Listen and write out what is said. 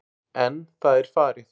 En það er farið.